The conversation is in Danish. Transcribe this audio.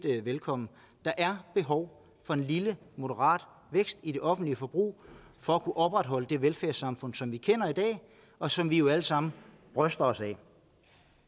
vi velkommen der er behov for en lille moderat vækst i det offentlige forbrug for at kunne opretholde det velfærdssamfund som vi kender i dag og som vi jo alle sammen bryster os af at